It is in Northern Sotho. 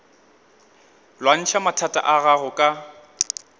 lwantšha mathata a gago ka